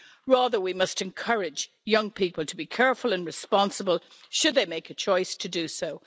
Rather, we must encourage young people to be careful and responsible should they make a choice to do so.